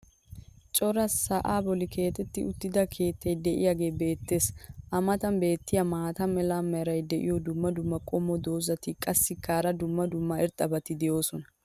cora sa"aa boli keexetti uttida keettay diyaagagee beetees. a matan beetiya maata mala meray diyo dumma dumma qommo dozzati qassikka hara dumma dumma irxxabati doosona.